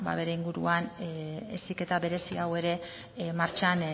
beren inguruan heziketa berezi hau ere martxan